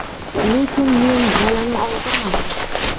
Lekin men bolani oldirmadim.